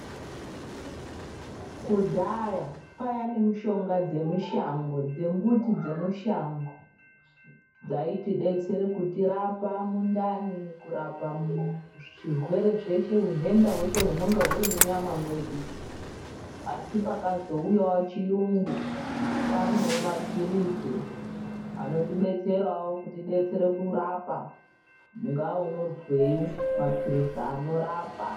Kudhaya kwaiya nemushonga dzemushango dzembuti dzemushango dzaitibetsere kutirapa mundani kurapa zvirwere zveshe hunhenda hweshe hunonga huri munyama mwedu. Asi pakazouyavo chiyungu kwanevo maphirizi anotibetseravo kuti anotibetsera kurapa ungaa unozwei, maphirizi anorapa.